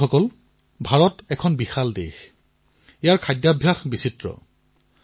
বন্ধুসকল ভাৰত এক বিশাল দেশ খোৱাবোৱাৰ বিভিন্ন বৈচিত্ৰ বিদ্যমান